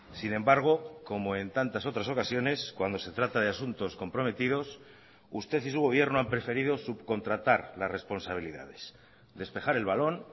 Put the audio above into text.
sin embargo como en tantas otras ocasiones cuando se trata de asuntos comprometidos usted y su gobierno han preferido subcontratar las responsabilidades despejar el balón